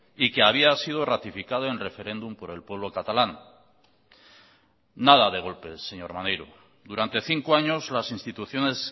y que había sido ratificado en referéndum por el pueblo catalán nada de golpes señor maneiro durante cinco años las instituciones